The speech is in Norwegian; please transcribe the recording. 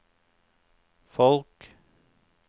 folk